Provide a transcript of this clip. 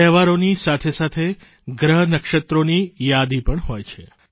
તહેવારોની સાથેસાથે ગ્રહનક્ષત્રોની યાદી પણ હોય છે